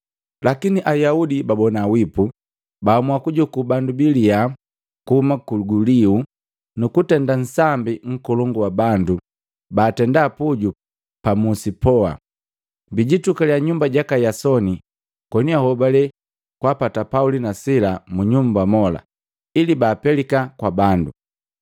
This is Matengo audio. Lakini Ayaudi babona wipu, baamua kujuku bandu baliya kuhuma kuguliu, nukutenda nsambi nkolongu wa bandu batenda puju pa musi poa. Biitukaliya nyumba jaka Yasoni koni ahobale kwaapata Pauli na Sila mu nyumba mola ili baapelika kwa bandu,